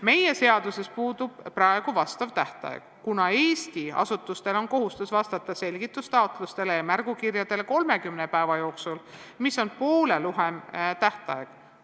Meie seaduses puudub praegu vastav tähtaeg, kuna Eesti asutustel on kohustus vastata selgitustaotlustele ja märgukirjadele 30 päeva jooksul, mis on poole lühem tähtaeg.